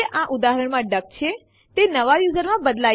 હવે આપણે લખીશું સીપી R ટેસ્ટડિર ટેસ્ટ અને Enter દબાવો